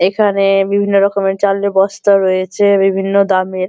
এখানে বিভিন্ন রকমের চালের বস্তা রয়েছে বিভিন্ন দামের।